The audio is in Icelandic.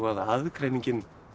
aðgreiningin